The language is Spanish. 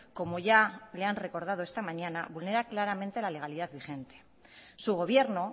como ya le han recordado esta mañana vulnera claramente la legalidad vigente su gobierno